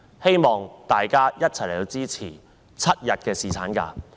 希望大家一起支持7日侍產假。